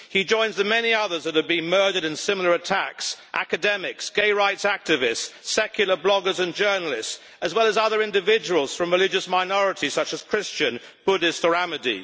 He joins the many others that have been murdered in similar attacks academics, gay rights activists, secular bloggers and journalists, as well as other individuals from religious minorities such as Christian, Buddhist or Ahmadi.